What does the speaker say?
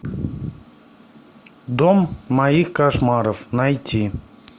дом моих кошмаров найти